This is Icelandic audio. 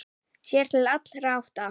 Sér til allra átta.